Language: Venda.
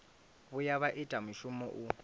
vhuya vha ita mushumo u